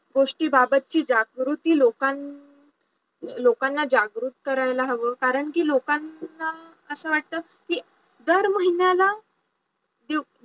गोष्टींबाबतची जागृती लोकांना जागृत करायला हवं कारण कि लोकांना असं वाटत कि दर महिन्याला